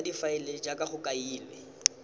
ya difaele jaaka go kailwe